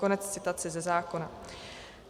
Konec citace ze zákona.